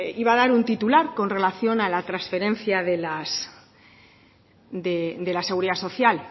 iba a dar un titular con relación a la trasferencia de la seguridad social